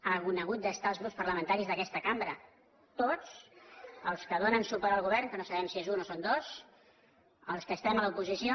han hagut de ser els grups parlamentaris d’aquesta cambra tots els que donen suport al govern que no sabem si és un o són dos els que estem a l’oposi·ció